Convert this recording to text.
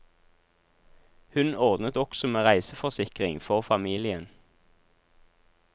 Hun ordnet også med reiseforsikring for familien.